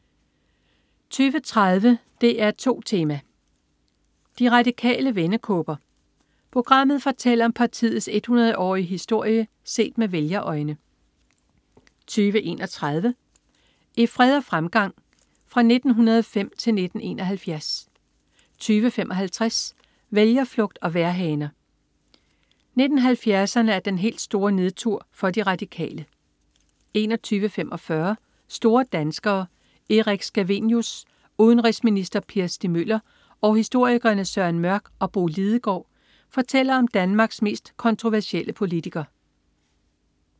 20.30 DR2 Tema: De Radikale vendekåber. Programmet fortæller om partiets 100-årige historie set med vælgerøjne 20.31 I krig, fred og fremgang. Fra 1905 til 1971 20.55 Vælgerflugt og vejrhaner. 1970'erne er den helt store nedtur for De Radikale 21.45 Store danskere. Erik Scavenius. Udenrigsminister Per Stig Møller og historikerne Søren Mørch og Bo Lidegaard fortæller om Danmarks mest kontroversielle politiker